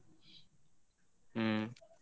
ಹ್ಮ್.